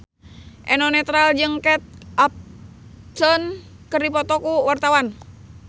Eno Netral jeung Kate Upton keur dipoto ku wartawan